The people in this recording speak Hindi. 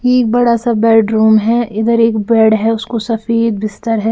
यह बड़ा सा बेडरूम है इधर एक बेड है उसको सफेद बिस्तर है।